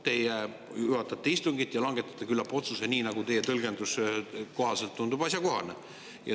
Teie juhatate istungit ja langetate küllap otsuse, nii nagu teie tõlgenduse kohaselt tundub asjakohane.